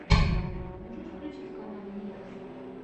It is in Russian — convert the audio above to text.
можешь включить каналы некроса